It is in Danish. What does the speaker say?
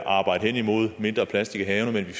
arbejde hen imod at få mindre plastik i havene men